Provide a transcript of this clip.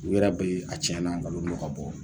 U yɛrɛ bɛ a tiɲɛ na nkalon dɔ ka bɔ